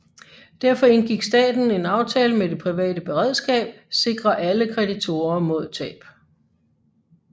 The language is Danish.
Derfor indgik staten en aftale med Det Private Beredskab sikrer alle simple kreditorer mod tab